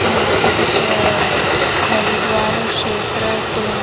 यहां पे कुछ हरिद्वार क्षेत्र सोन--